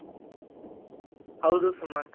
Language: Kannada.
ಹೌದು ಸುಮಂತ್